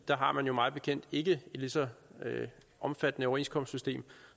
der har man jo mig bekendt ikke et lige så omfattende overenskomstsystem